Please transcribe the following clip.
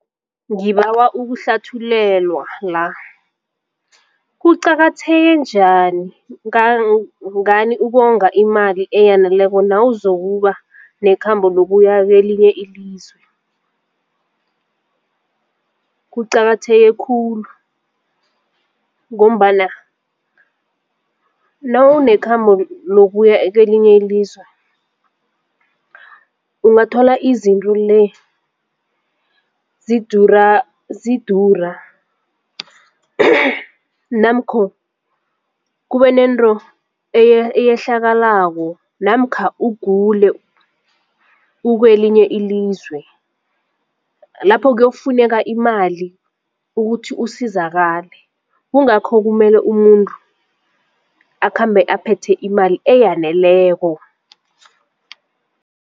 Ngibawa ukuhlathulelwa la kuqakatheke njani ngani ukonga imali eyaneleko nawuzokuba nekhamba lokuya kelinye ilizwe? Kuqakatheke khulu ngombana nawunekhambo lokuya kelinye ilizwe ungathola izinto le zidura zidura namkho kube nento eyehlakalako namkha ugule ukwelinye ilizwe lapho kuyokufuneka imali ukuthi usizakale kungakho kumele umuntu akhambe aphethe imali eyaneleko.